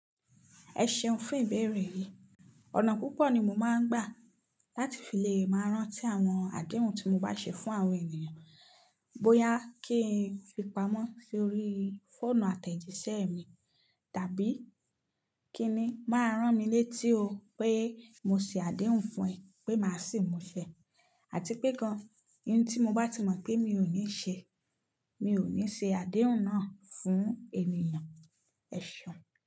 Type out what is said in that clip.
3Ẹ ṣeun fún ìbéèrè yi. Ọ̀nà púpọ̀ ni mo máa ń gbà láti fi lè máa rántí àwọn àdéhùn tí mo bá ṣe fún àwọn ènìyàn. Bóyá kí n fi pamọ́ sórí fóònù àtẹ̀jíṣẹ́ mi, tàbí kí ni máa rán mi létí o pé mo ṣe àdéhùn fún ẹ pé màá sì mú ṣẹ, àti pé gan-an ohun tí mo bá ti mọ̀ pé mi ò ní ṣe, mi ò ní ṣe àdéhùn náà fún ènìyàn. Ẹ̀ seun.